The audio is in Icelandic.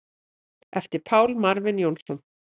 eftir Pál Marvin Jónsson